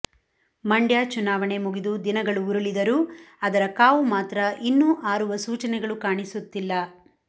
ಮಂಡ್ಯ ಚುನಾವಣೆ ಮುಗಿದು ದಿನಗಳು ಉರುಳಿದರೂ ಅದರ ಕಾವು ಮಾತ್ರ ಇನ್ನೂ ಆರುವ ಸೂಚನೆಗಳು ಕಾಣಿಸುತ್ತಿಲ್ಲ